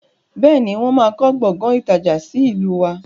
Bẹ́ẹ̀ni, wọn má kọ Gbọ̀ngán ìtajà sì ìlú wá.